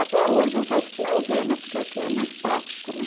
Até hoje eu faço com maisena, porque aqui é mais prático, né?